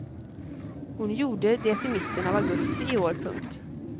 Hon gjorde det i mitten av augusti i år. punkt